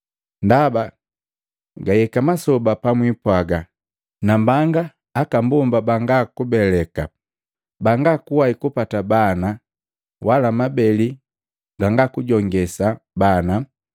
Ndaba gahika masoba pabipwaga, ‘Nambanga banga akambonga banga kubeleka, banga kuwai kupata bana wala mabeli gangakujongesa bana!’